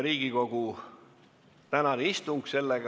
Riigikogu tänane istung on lõppenud.